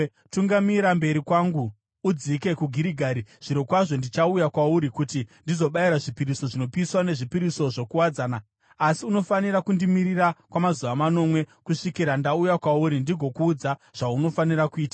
“Tungamira mberi kwangu udzike kuGirigari. Zvirokwazvo ndichauya kwauri kuti ndizobayira zvipiriso zvinopiswa nezvipiriso zvokuwadzana, asi unofanira kundimirira kwamazuva manomwe kusvikira ndauya kwauri ndigokuudza zvaunofanira kuita.”